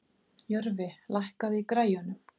Jörfi, lækkaðu í græjunum.